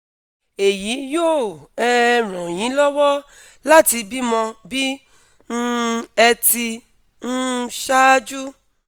èyí yóò um ràn yín lọ́wọ́ láti bímọ bí um ẹ ti um ṣáájú